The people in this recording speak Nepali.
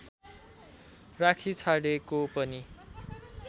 राखिछाडेको पनि